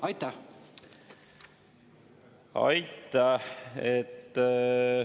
Aitäh!